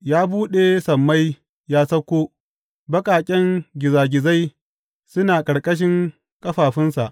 Ya buɗe sammai ya sauko; baƙaƙen gizagizai suna a ƙarƙashin ƙafafunsa.